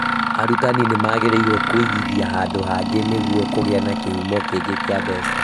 Arutani magĩrĩirwo kũigithia handũ hangĩ nĩguo kũgĩa na kĩhumo kĩngĩ kĩa mbeca